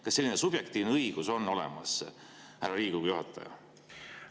Kas selline subjektiivne õigus on Riigikogu juhatajal olemas?